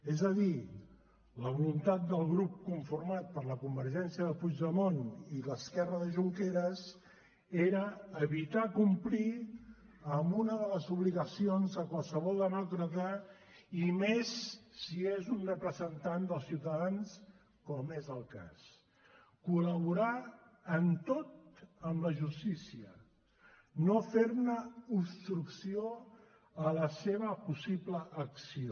és a dir la voluntat del grup conformat per la convergència de puigdemont i l’esquerra de junqueras era evitar complir amb una de les obligacions de qualsevol demòcrata i més si és un representant dels ciutadans com és el cas col·laborar en tot amb la justícia no fer obstrucció a la seva possible acció